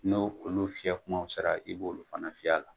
N'o olu fiyɛ kumaw sera, i b'olu fana fiyɛ a la.